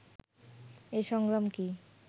এই সংগ্রাম কি